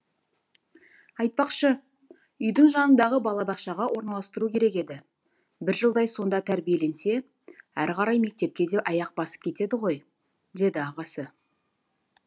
айтпақшы үйдің жанындағы балабақшаға орналастыру керек еді бір жылдай сонда тәрбиеленсе әрі қарай мектепке де аяқ басып кетеді ғой деді ағасы